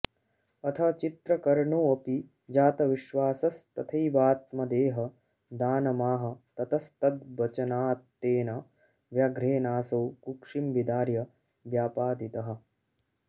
अथ चित्रकर्णोऽपि जातविश्वासस्तथैवात्मदेहदानमाह ततस्तद्वचनात्तेन व्याघ्रेणासौ कुक्षिं विदार्य व्यापादितः